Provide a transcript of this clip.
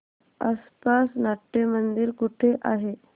आसपास नाट्यमंदिर कुठे आहे